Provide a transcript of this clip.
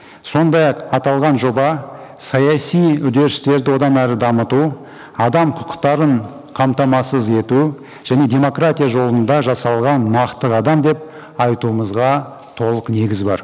сондай ақ аталған жоба саяси үдерістерді одан әрі дамыту адам құқықтарын қамтамасыз ету және демократия жолында жасалған нақты қадам деп айтуымызға толық негіз бар